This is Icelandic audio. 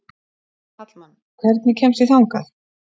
Hallmann, hvernig kemst ég þangað?